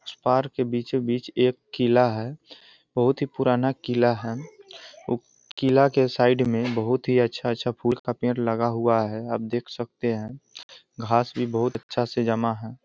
Park के बीचो बीच एक किला है बहुत ही पुराना किला है और किला के साइड में बहुत ही अच्छा-अच्छा फूल का पेड़ लगा हुआ है आप देख सकते हैं घास भी बहुत अच्छा से जमा है।